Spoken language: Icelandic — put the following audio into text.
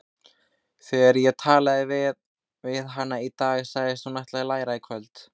Þegar ég talaði við hana í dag sagðist hún ætla að læra í kvöld.